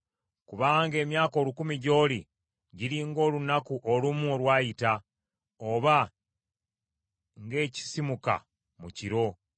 Kubanga emyaka olukumi, gy’oli giri ng’olunaku olumu olwayita, oba ng’ekisisimuka mu kiro.